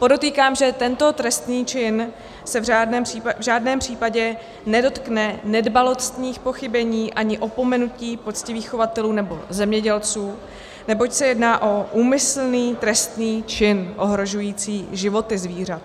Podotýkám, že tento trestný čin se v žádném případě nedotkne nedbalostních pochybení ani opomenutí poctivých chovatelů nebo zemědělců, neboť se jedná o úmyslný trestný čin ohrožující životy zvířat.